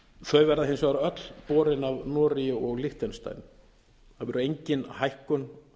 þau verða hins vegar öll borin af noregi og liechtenstein það verður engin hækkun